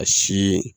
A si